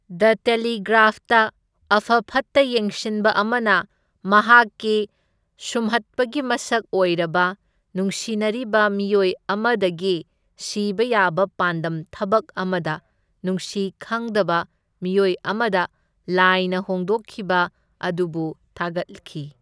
The Telegraph of ꯐꯠꯇ ꯌꯦꯡꯁꯤꯟꯕ ꯑꯃꯅ ꯃꯍꯥꯛꯀꯤ ꯁꯨꯝꯍꯠꯄꯒꯤ ꯃꯁꯛ ꯑꯣꯏꯔꯕ ꯅꯨꯡꯁꯤꯅꯔꯤꯕ ꯃꯤꯑꯣꯏ ꯑꯃꯗꯒꯤ ꯁꯤꯕ ꯌꯥꯕ ꯄꯥꯟꯗꯝ ꯊꯕꯛ ꯑꯃꯗ ꯅꯨꯡꯁꯤ ꯈꯪꯗꯕ ꯃꯤꯑꯣꯏ ꯑꯃꯗ ꯂꯥꯏꯅ ꯍꯣꯡꯗꯣꯛꯈꯤꯕ ꯑꯗꯨꯕꯨ ꯊꯥꯒꯠꯈꯤ꯫